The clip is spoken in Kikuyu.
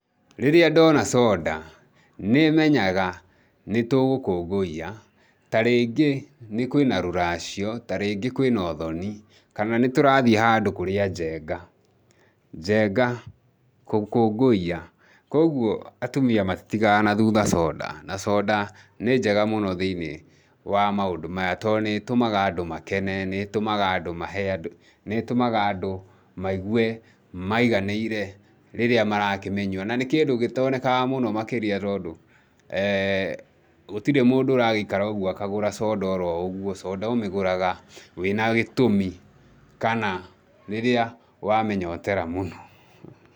Rĩrĩa ndona soda, nĩ menyaga nĩ tũgũkũngũiya, ta rĩngĩ kwĩ na rũracio, ta rĩngĩ kwĩ na ũthoni, kana nĩ tũrathiĩ handũ kũrĩa njenga. Njenga, gũkũngũiya, kwoguo atumia matĩtigaga na thutha soda, na soda nĩ njega mũno thĩinĩ wa maũndũ maya tondũ nĩ ĩtũmaga andũ makene, nĩ ĩtũmaga andũ mahe andũ, nĩ ĩtũmaga andũ maigue maiganĩire rĩrĩa marakĩmĩnyua. Na nĩ kĩndũ gĩtoonekaga mũno makĩria tondũ gũtirĩ mũndũ ũragĩikara oũguo akagũra soda oroũguo, soda ũmĩgũraga wĩ na gĩtũmi kana rĩrĩa wamĩnyotera mũno.